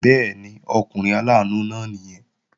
Bẹ́ẹ̀ni, ọkùnrin aláàánú náà nìyẹn